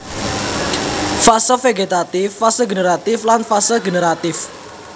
Fase vegetatif fase generatif lan fase generatif